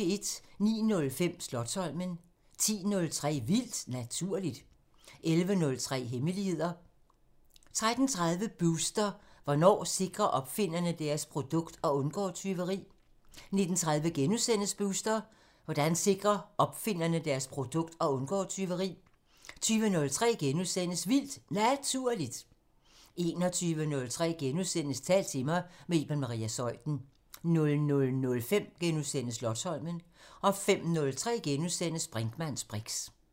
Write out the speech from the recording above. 09:05: Slotsholmen 10:03: Vildt Naturligt 11:03: Hemmeligheder 13:30: Booster: Hvordan sikrer opfinderne deres produkt og undgår tyveri? 19:30: Booster: Hvordan sikrer opfinderne deres produkt og undgår tyveri? * 20:03: Vildt Naturligt * 21:03: Tal til mig – med Iben Maria Zeuthen * 00:05: Slotsholmen * 05:03: Brinkmanns briks *